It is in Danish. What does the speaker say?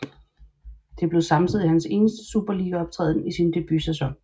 Det blev samtidig hans eneste superligaoptræden i sin debutsæson